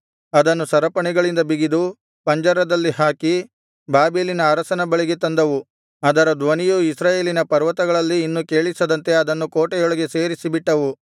ಅದನ್ನು ಸರಪಣಿಗಳಿಂದ ಬಿಗಿದು ಪಂಜರದಲ್ಲಿ ಹಾಕಿ ಬಾಬೆಲಿನ ಅರಸನ ಬಳಿಗೆ ತಂದವು ಅದರ ಧ್ವನಿಯು ಇಸ್ರಾಯೇಲಿನ ಪರ್ವತಗಳಲ್ಲಿ ಇನ್ನು ಕೇಳಿಸದಂತೆ ಅದನ್ನು ಕೋಟೆಯೊಳಗೆ ಸೇರಿಸಿ ಬಿಟ್ಟವು